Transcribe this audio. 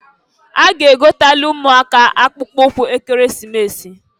A ga-egotalụ ụmụaka akpụụkwụ Ekeresimesi.